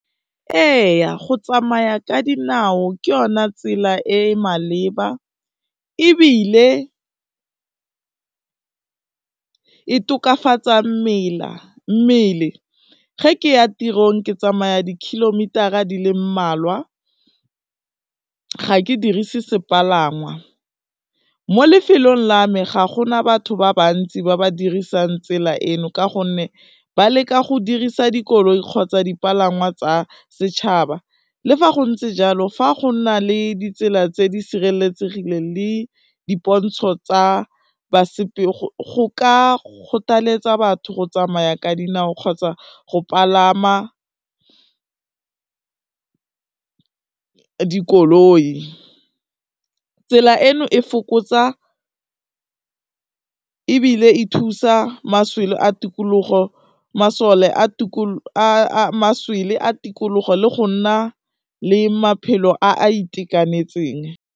Ee go tsamaya ka dinao ke yona tsela e e maleba ebile e tokafatsa mmele, ge ke ya tirong ke tsamaya di-kilometer-a di le mmalwa, ga ke dirise sepalangwa. Mo lefelong la me ga gona batho ba bantsi ba ba dirisang tsela eno ka gonne ba leka go dirisa dikoloi kgotsa dipalangwa tsa setšhaba, le fa go ntse jalo fa go na le ditsela tse di sireletsegileng le dipontsho tsa basepele, go ka kgothaletsa batho go tsamaya ka dinao kgotsa go palama dikoloi, tsela eno e fokotsa ebile e thusa maswele a tikologo le go nna le maphelo a a itekanetseng.